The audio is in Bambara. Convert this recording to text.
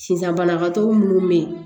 Sisan banabagatɔ minnu bɛ yen